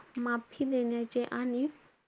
माफी देण्याचे आणि,